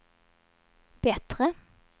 bättre